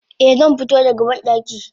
Eh zanfito da ga bandaki.